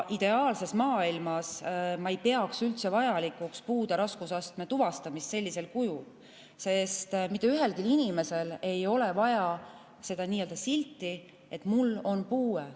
Ideaalses maailmas ei peaks ma üldse vajalikuks puude raskusastme tuvastamist sellisel kujul, sest mitte ühelgi inimesel ei ole vaja seda nii-öelda silti, et tal on puue.